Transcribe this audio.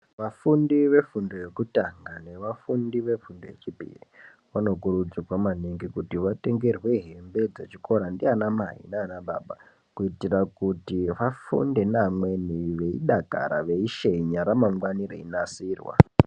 Vafundi vefundo yekutanga nevafundi vefundo yechipiri vanokurudzirwa maningi kuti vatengerwe hembe dzechikora ndianamai nanababa. Kuitira kuti vafunde nevamweni veishenya ramangwana richinasirwa.